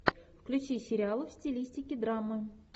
включи сериал в стилистике драма